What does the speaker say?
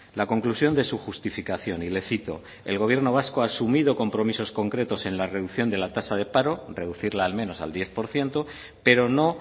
la conclusión de su justificación y le cito el gobierno vasco ha asumido compromisos concretos en la reducción de la tasa de paro reducirla al menos al diez por ciento pero no